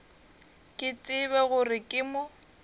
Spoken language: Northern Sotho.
ke tsebe gore ke mo